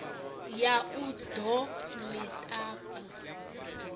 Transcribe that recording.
ya u ḓo ḽi tapa